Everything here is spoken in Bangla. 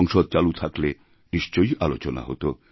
সংসদচালু থাকলে নিশ্চয়ই আলোচনা হত